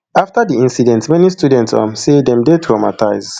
afta di inicident many students um say dem dey traumatisee